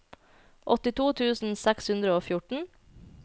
åttito tusen seks hundre og fjorten